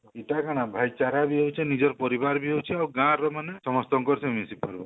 ହେଟା କାଣା ଭାଇଚାର ବି ହଉଛି ନିଜର ପରିବାର ବି ଅଛି ଆଉ ଗାଁ ର ମାନେ ସମସ୍ତଙ୍କର ସହ ମିଶିପାରିବା